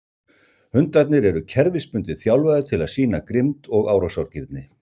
Hundarnir eru kerfisbundið þjálfaðir til að sýna grimmd og árásargirni.